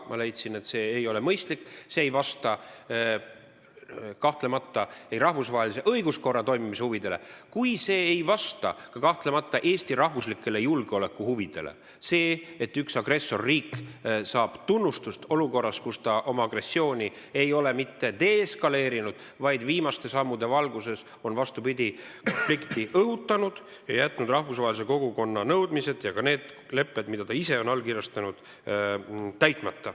Ma leidsin, et see ei ole mõistlik, see ei vasta kahtlemata ei rahvusvahelise õiguskorra toimimise huvidele ega ka Eesti rahvuslikele julgeolekuhuvidele – see, et agressorriik saab tunnustust olukorras, kus ta oma agressiooni ei ole mitte deeskaleerinud, vaid viimaste sammude valguses on selge, vastupidi, et ta on konflikti õhutanud ja jätnud täitmata rahvusvahelise kogukonna nõudmised ja ka need lepped, mida ta ise on allkirjastanud.